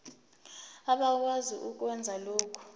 abakwazi ukwenza lokhu